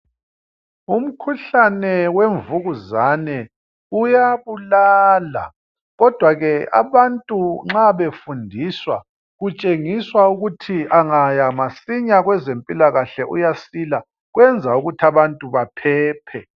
Umkhuhlane wemvukuzane uyabulala ,kodwa ke abantu nxa befundiswa kutshengiswa ukuthi angaya masinya kwezempilakahle uyasila kwenza ukuthi abantu baphephe.